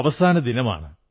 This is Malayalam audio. അവസാനദിനമാണ്